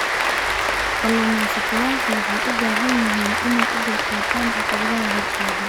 Kalumestayasha waxay u baahan yihiin inay u dulqaataan caqabadaha hortaagan.